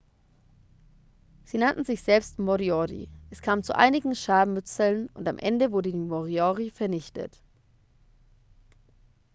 sie nannten sich selbst moriori es kam zu einigen scharmützeln und am ende wurden die moriori vernichtet